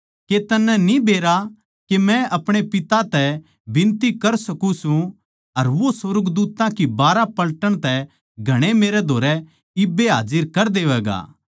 के तन्नै न्ही बेरा के मै अपणे पिता तै बिनती कर सकूँ सूं अर वो सुर्गदूत्तां की बारहां पलटन तै घणे मेरै धोरै इब्बे हाजर कर देवैगा